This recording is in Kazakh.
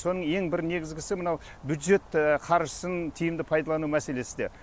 соның ең бір негізгісі мынау бюджет қаржысын тиімді пайдалану мәселесі де